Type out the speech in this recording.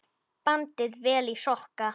Bandið vel í sokka.